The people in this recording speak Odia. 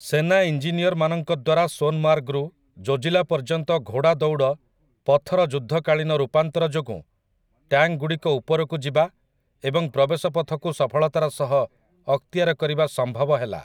ସେନା ଇଞ୍ଜିନିୟରମାନଙ୍କ ଦ୍ୱାରା ସୋନମାର୍ଗରୁ ଜୋଜି ଲା ପର୍ଯ୍ୟନ୍ତ ଘୋଡ଼ାଦୌଡ଼ ପଥର ଯୁଦ୍ଧକାଳୀନ ରୂପାନ୍ତର ଯୋଗୁଁ ଟ୍ୟାଙ୍କଗୁଡ଼ିକ ଉପରକୁ ଯିବା ଏବଂ ପ୍ରବେଶ ପଥକୁ ସଫଳତାର ସହ ଅକ୍ତିଆର କରିବା ସମ୍ଭବ ହେଲା ।